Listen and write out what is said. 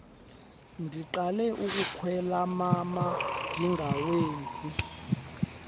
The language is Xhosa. ndiqala ukukwelama mandingawenzi